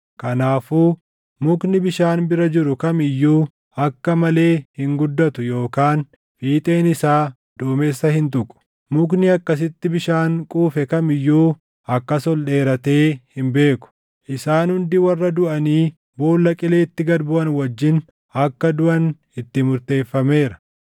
Kanaafuu mukni bishaan bira jiru kam iyyuu akka malee hin guddatu yookaan fiixeen isaa duumessa hin tuqu. Mukni akkasitti bishaan quufe kam iyyuu akkas ol dheeratee hin beeku. Isaan hundi warra duʼanii boolla qileetti gad buʼan wajjin akka duʼan itti murteeffameera.